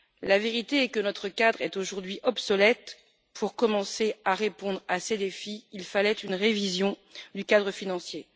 La vérité est que notre cadre est aujourd'hui obsolète. Pour commencer à répondre à ces défis, il fallait une révision du cadre financier.